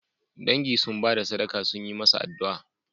Dangi sun ba da sadaka sun yi masa addu'a